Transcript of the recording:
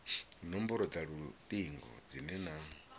nomboro dza lutingo dzine na